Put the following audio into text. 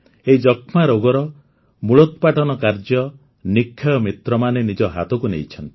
ଏହି ଯକ୍ଷ୍ମା ରୋଗର ମୂଳୋତ୍ପାଟନ କାର୍ଯ୍ୟ ନିକ୍ଷୟ ମିତ୍ରମାନେ ନିଜ ହାତକୁ ନେଇଛନ୍ତି